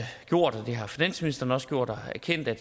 gjort har finansministeren også gjort erkender at